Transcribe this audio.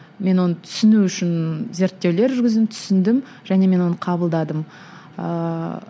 мен оны түсіну үшін зерттеулер жүргіздім түсіндім және мен оны қабылдадым ыыы